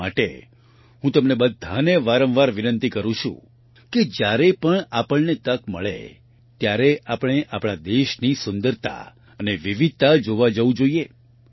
એટલા માટે હું તમને બધાને વારંવાર વિનંતી કરું છું કે જ્યારે પણ આપણને તક મળે ત્યારે આપણે આપણા દેશની સુંદરતા અને વિવિધતા જોવા જવું જોઈએ